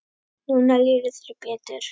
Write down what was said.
Núna líður þér betur.